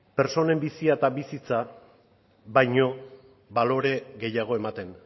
pertsonen bizia eta bizitza baino balore gehiago ematen